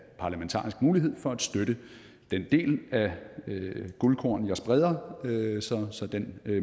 parlamentarisk mulighed for at støtte den del af guldkornene jeg spreder så den